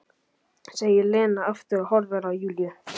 segir Lena aftur og horfir á Júlíu.